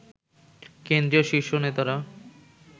কেন্দ্রীয় শীর্ষ নেতারা